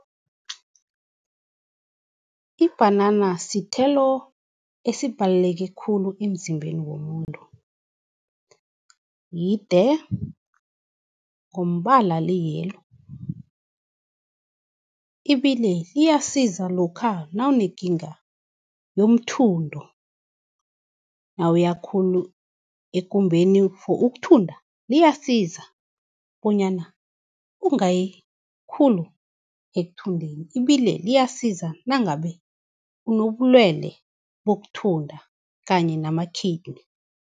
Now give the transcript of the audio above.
Ibhanana sithelo esibhaleleke khulu emzimbeni womuntu, yide ngombala li-yellow. Ibile liyasiza lokha nawunekinga yomthundo, nawuya khulu ekumbeni for ukuthunda, liyasiza bonyana ungayi khulu ekuthundeni. Ibile liyasiza nangabe, unobulwele bokuthunda kanye nama-kidney.